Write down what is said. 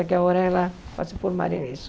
Agora ela vai se formar nisso.